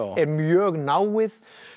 er mjög náið